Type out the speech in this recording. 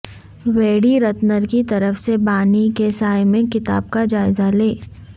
ویڈی رتنر کی طرف سے بانی کے سائے میں کتاب کا جائزہ لیں